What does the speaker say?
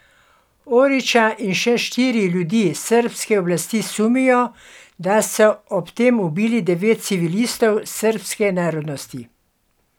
Orića in še štiri ljudi srbske oblasti sumijo, da so ob tem ubili devet civilistov srbske narodnosti.